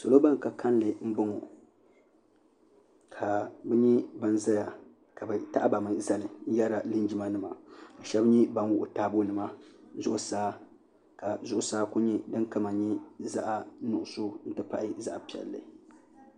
salo ban ka kanli n bo ŋɔ ka bɛ nyɛ ban zaya ka be n zali n yɛaila linjima nima shɛbi mi ban wuɣigi taabonima zuɣ' saa ka zuɣ' saa kuli nyɛ ni zaɣisugisu . ti pahi zaɣinuɣigisu